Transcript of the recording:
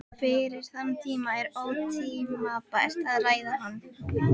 Fyrir þann tíma er ótímabært að ræða hann.